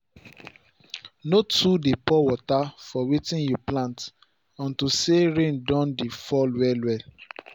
no too dey pour water for wetin you plant unto say rain don dey fall well well